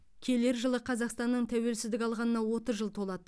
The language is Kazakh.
келер жылы қазақстанның тәуелсіздік алғанына отыз жыл толады